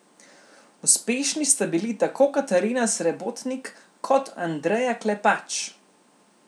Uspešni sta bili tako Katarina Srebotnik kot Andreja Klepač.